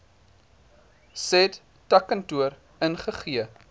said takkantoor ingegee